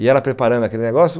E ela preparando aquele negócio.